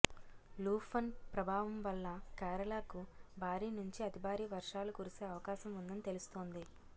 లూఫన్ ప్రభావం వల్ల కేరళకు భారీ నుంచి అతి భారీ వర్షాలు కురిసే అవకాశం ఉందని తెలుస్తోంది